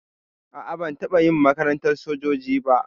A'a ban taɓa yin makarantar sojoji ba.